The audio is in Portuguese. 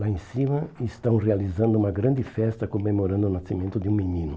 Lá em cima estão realizando uma grande festa comemorando o nascimento de um menino.